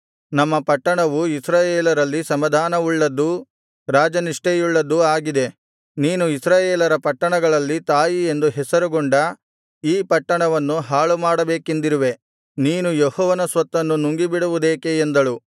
ನಮ್ಮ ಪಟ್ಟಣವು ಇಸ್ರಾಯೇಲರಲ್ಲಿ ಸಮಾಧಾನವುಳ್ಳದ್ದೂ ರಾಜನಿಷ್ಠೆಯುಳ್ಳದ್ದೂ ಆಗಿದೆ ನೀನು ಇಸ್ರಾಯೇಲರ ಪಟ್ಟಣಗಳಲ್ಲಿ ತಾಯಿಯೆಂದು ಹೆಸರುಗೊಂಡ ಈ ಪಟ್ಟಣವನ್ನು ಹಾಳುಮಾಡಬೇಕೆಂದಿರುವೆ ನೀನು ಯೆಹೋವನ ಸ್ವತ್ತನ್ನು ನುಂಗಿಬಿಡುವುದೇಕೆ ಎಂದಳು